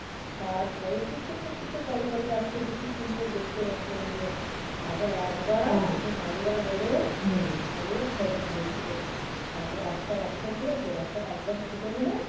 তারপরে সেই ছোট্ট ছোট্ট কালো কালো বাচ্চাটি কি সুন্দর দেখতে বাচ্চাগুলো. তারপর একবার. দুটো নাদুয়া হলো. আগে ওর ছজন হয়ে ছিল. তারপরে একটা বাচ্চা ছিল সেই বাচ্চাটা একদম ছোট বলে